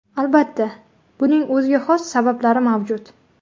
Albatta, buning o‘ziga xos sabablari mavjud.